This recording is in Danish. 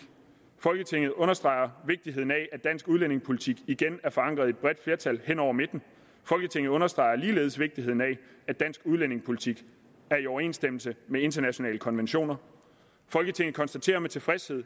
folketinget understreger vigtigheden af at dansk udlændingepolitik igen er forankret i et bredt flertal hen over midten folketinget understreger ligeledes vigtigheden af at dansk udlændingepolitik er i overensstemmelse med internationale konventioner folketinget konstaterer med tilfredshed at